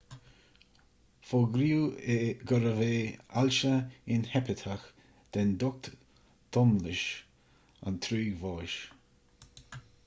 fógraíodh gurbh é ailse inheipiteach den ducht domlais an trúig bháis